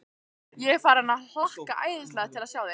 Ég er farinn að hlakka æðislega til að sjá þig.